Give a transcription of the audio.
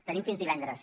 tenim fins divendres